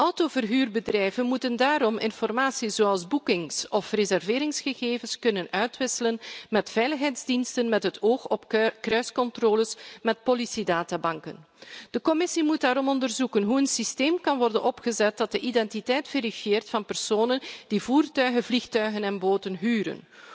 Autoverhuurbedrijven moeten daarom informatie zoals boekings of reserveringsgegevens kunnen uitwisselen met veiligheidsdiensten met het oog op kruiscontroles met politiedatabanken. De Commissie moet daarom onderzoeken hoe een systeem kan worden opgezet waarmee de identiteit verifieert van personen die voertuigen, vliegtuigen en boten huren